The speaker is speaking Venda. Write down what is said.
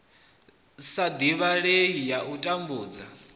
sa divhalei ya u tambudza